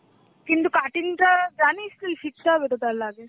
কিন্তু cutting টা জানিস তুই? শিখতে হবে তো তাহলে আগে.